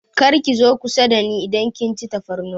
Kar ki zo kusa dani idan kin ci tafarnuwa!